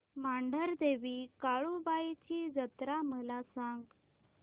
मांढरदेवी काळुबाई ची जत्रा मला सांग